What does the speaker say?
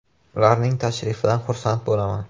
Ularning tashrifidan xursand bo‘laman.